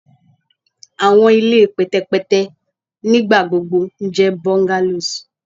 Awọn ile pẹtẹpẹtẹ nigbagbogbo jẹ bungalows